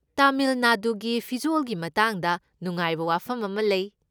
ꯇꯥꯃꯤꯜ ꯅꯥꯗꯨꯒꯤ ꯐꯤꯖꯣꯜꯒꯤ ꯃꯇꯥꯡꯗ ꯅꯨꯡꯉꯥꯏꯕ ꯋꯥꯐꯝ ꯑꯃ ꯂꯩ꯫